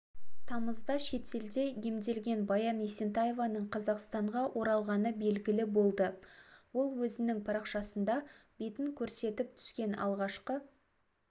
тамызда шетелде емделген баян есентаеваның қазақстанға оралғаны белгілі болды ол өзінің парақшасында бетін көрсетіп түскен алғашқы